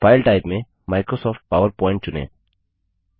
file type में Microsoft PowerPoint चुनें